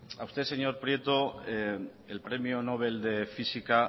a usted señor prieto el premio nobel de física